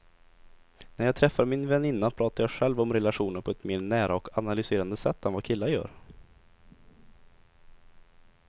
När jag träffar min väninna pratar jag själv om relationer på ett mer nära och analyserande sätt än vad killar gör.